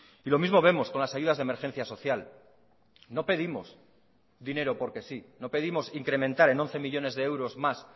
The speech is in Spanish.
y lo mismo vemos con las ayudas de emergencia social no pedimos dinero porque sí no pedimos incrementar en once millónes de euros más